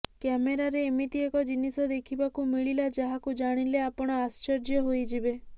କ୍ୟାମେରାରେ ଏମିତି ଏକ ଜିନିଷ ଦେଖିବାକୁ ମିଳିଲା ଯାହାକୁ ଜାଣିଲେ ଆପଣ ଆଶ୍ଚର୍ଯ୍ୟ ହୋଇଯିବେ